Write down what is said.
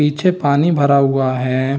पीछे पानी भरा हुआ है।